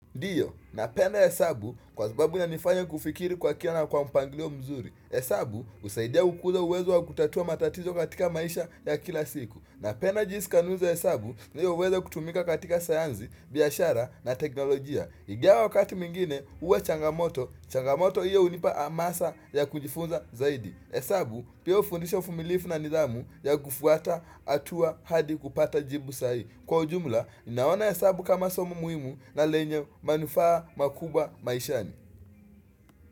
Ndiyo, napenda hesabu kwa sababu yanifanya kufikiri kwa kina na kwa mpangilio mzuri. Hesabu husaidia kukuza uwezo wa kutatua matatizo katika maisha ya kila siku. Napenda jinsi kanuni za hesabu ndiyo huweza kutumika katika sayansi, biashara na teknolojia. Ingawa wakati mwingine huwa changamoto, changamoto iyo unipa amasa ya kujifunza zaidi. Hesabu pia hufundisha uvumilivu na nidhamu ya kufuata hatua hadi kupata jibu sahihi. Kwa ujumla, naona hesabu kama somo muhimu na lenye manufaa makubwa maishani.